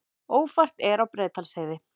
Ófært er á Breiðdalsheiði